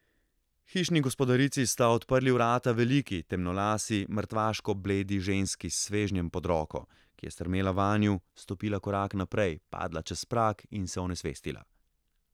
Hišni gospodarici sta odprli vrata veliki, temnolasi, mrtvaško bledi ženski s svežnjem pod roko, ki je strmela vanju, stopila korak naprej, padla čez prag in se onesvestila.